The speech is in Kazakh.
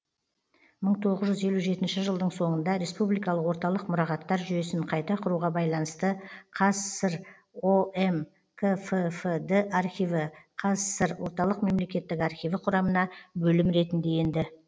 мың тоғыз жүз елу жетінші жылдың соңында республикалық орталық мұрағаттар жүйесін қайта құруға байланысты қазсср ом кффд архиві қазсср орталық мемлекеттік архиві құрамына бөлім ретінде енді